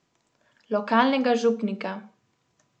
Lokalnega župnika.